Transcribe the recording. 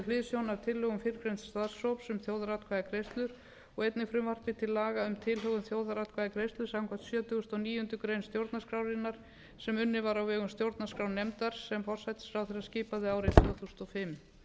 hliðsjón af tillögum fyrrgreinds starfshóps um þjóðaratkvæðagreiðslur og einnig frumvarpi til laga um tilhögun þjóðaratkvæðagreiðslu samkvæmt sjötugasta og níundu grein stjórnarskrárinnar sem unnin var á vegum stjórnarskrárnefndar sem forsætisráðherra skipaði árið tvö þúsund og fimm var